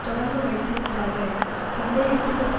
தொடர்பு வைத்திருக்கிறார்கள் என சந்தேகிப்பதற்கு